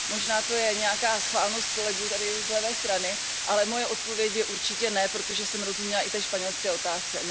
Možná to je nějaká schválnost kolegů tady z levé strany, ale moje odpověď je určitě ne, protože jsem rozuměla i té španělské otázce.